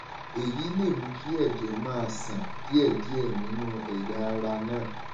èyí lè mú kí ẹjẹ máa ṣàn díẹdíẹ nínú ẹyà ara náà